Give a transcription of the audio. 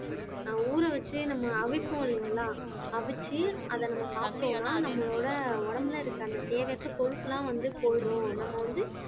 ஊற வச்சே நம்ம அவிப்போம் இல்லைங்களா அவிச்சு அதை நம்ம சாப்பிட்டோம்ன்னா நம்மளோட உடம்புல இருக்க அந்த தேவையற்ற கொழுப்பெல்லாம் வந்து போயிடும் நம்ம வந்து